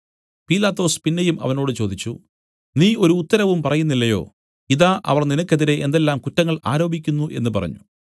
പീലാത്തോസ് പിന്നെയും അവനോട് ചോദിച്ചു നീ ഒരു ഉത്തരവും പറയുന്നില്ലയോ ഇതാ അവർ നിനക്കെതിരെ എന്തെല്ലാം കുറ്റങ്ങൾ ആരോപിക്കുന്നു എന്നു പറഞ്ഞു